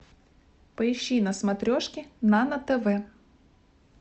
поищи на смотрешке нано тв